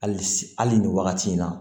Hali s hali nin wagati in na